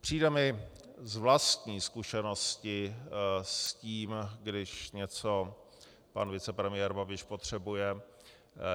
Přijde mi z vlastní zkušenosti s tím, když něco pan vicepremiér Babiš potřebuje,